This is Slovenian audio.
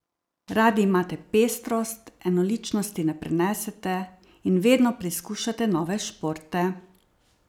Radi imate pestrost, enoličnosti ne prenesete in vedno preizkušate nove športe.